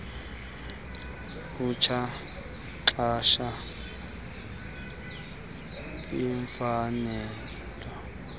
mtsha uxhasa iimfanelo